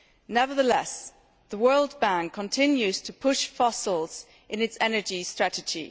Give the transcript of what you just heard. Nevertheless, the World Bank continues to push fossils in its energy strategy.